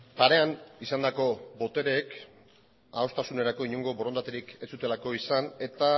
parean izandako botereek adostasunerako inongo borondaterik ez zutelako izan eta